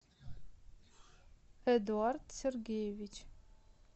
эдуард сергеевич